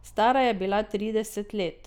Stara je bila trideset let.